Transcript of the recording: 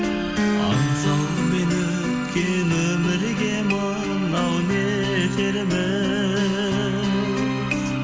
аңсаумен өткен өмірге мынау не етерміз